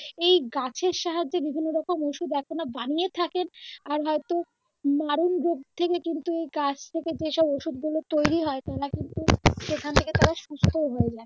এই গাছের সাহায্যে বিভিন্ন রকম ঔষধ এখনো বানিয়ে থাকেন আর হয়তো মারন রোগ থেকে কিন্তু গাছ থেকে যেসব ঔষধ গুলো তৈরি হয় তারা কিন্তু সেখান থেকে তারা সুস্থ হয়ে যায়